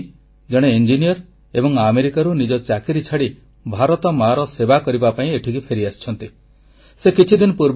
ୟୋଗେଶ ସୈନୀ ଜଣେ ଇଞ୍ଜିନିୟର ଏବଂ ଆମେରିକାରୁ ନିଜ ଚାକିରି ଛାଡ଼ି ଭାରତ ମାର ସେବା କରିବା ପାଇଁ ଏଠିକି ଫେରିଆସିଛନ୍ତି